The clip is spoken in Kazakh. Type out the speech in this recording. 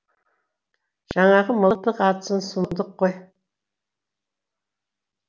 жаңағы мылтық атысын сұмдық қой